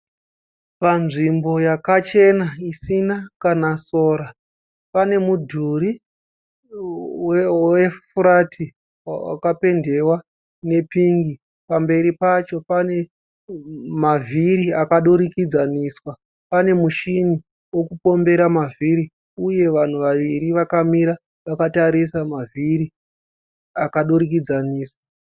Panzvimbo yakachena isina kana sora pane mudhuri wefurati wakapendewa nepingi pamberi pacho pane mavhiri akadurikidzaniswa pane muchina wekupombera mavhiri uye vanhu vaviri vakamira vakatarisa mavhiri akadurikidzaniswa.